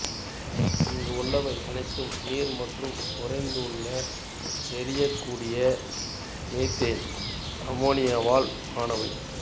இங்குள்ளவை அனைத்தும் நீர் மற்றும் உறைந்துள்ள எரியக்கூடிய மெதேன் அமோனியாவால் ஆனவை